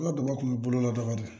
An ka daba kun bɛ bolo la daga de don